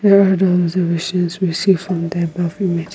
here are the observations we see from the above image--